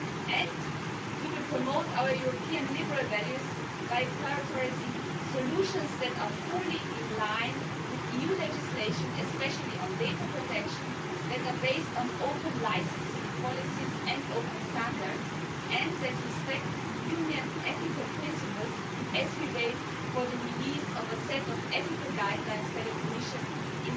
And we will promote our European liberal values by prioritising solutions that are fully in line with EU legislation, especially on data protection, that are based on open licensing policies and open standards, and that respect Union ethical principles as we wait for the release of a set of ethical guidelines by the Commission next